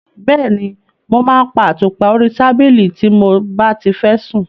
Bẹ́ẹ̀ni, mo máa ń pa àtùpà orí tábìlì tí mo bá ti fẹ́ sùn.